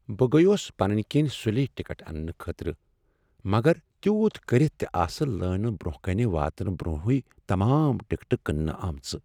بہٕ گٔیوس پنٕنۍ کنۍ سلی ٹکٹ اننہٕ خٲطرٕ مگر تیوت کٔرتھ تہ آسہٕ لٲنہ برٛونٛہہ کن واتنہٕ برٛونٛہٕے تمام ٹکٹ کٕننہٕ آمژٕ۔